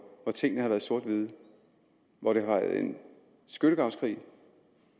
hvor tingene har været sort hvide og hvor det har været en skyttegravskrig